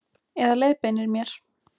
Eða leiðbeinir mér.